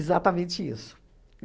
Exatamente isso.